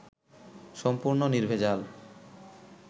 সম্পূর্ণ নির্ভেজাল